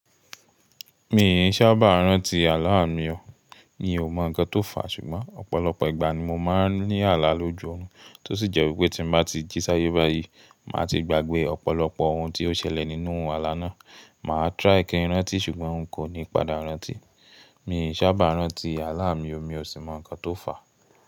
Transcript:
Mi ì sábà rántí àlá mi o, mi o mọ ǹkan tó fà ṣùgbọ́n ọ̀pọ̀lọpọ̀ ìgbà ni mo máa ń ní àlá lójú ọrùn tó sì jẹ́ wípé tí mo bá ti jí sáyé báyìí, màá ti gbàgbé ọ̀pọ̀lọpọ̀ ohun tí ó ṣẹlẹ̀ nínú àlá náà. Mà á try kí n rántí ṣùgbọ́n n kò ní padà rántí. Mi ì sábà rántí àlá mi o, mi o sì mọ ǹkan tó fà.